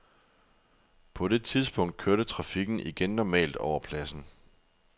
På det tidspunkt kørte trafikken igen normalt over pladsen.